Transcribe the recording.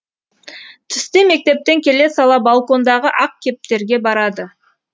түсте мектептен келе сала балкондағы ақ кептерге барады